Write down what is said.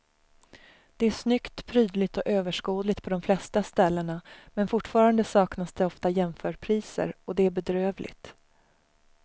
Det är snyggt, prydligt och överskådligt på de flesta ställena men fortfarande saknas det ofta jämförpriser och det är bedrövligt.